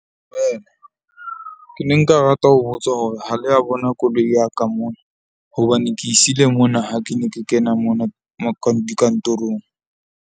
Dumela, ke ne nka rata ho botsa hore ha le a bona koloi ya ka mona? Hobane ke siile mona ha ke ne ke kena mona dikantorong.